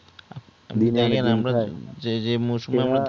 যে যেই